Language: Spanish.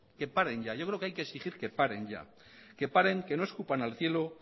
que paren ya yo creo que hay que exigir que paren ya que paren que no escupan al cielo